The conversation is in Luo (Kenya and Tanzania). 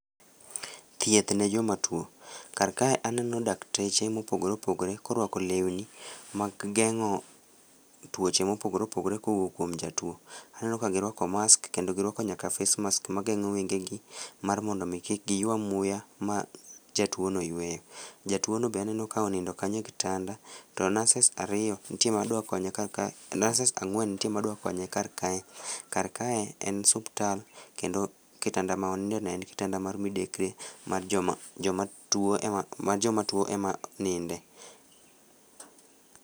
Thieth ne jomatuo. karkae aneno dakteche mopogore opogore korwako lewni mag geng'o tuoche mopogore opogore kowuok kuom jatuo. Aneno ka giruako mask kendo giruako nyaka face mask mageng'o wengegi mar mondo omi kik giywa muya ma jatuono yueyo. Jatuono be aneno ka onindo kanyo e kitanda to nurses ang'wen ntie madwakonye karkae, karkae en suptal kendo kitanda ma onindeno en kitanda mar midekre ma joma tuo ema ninde.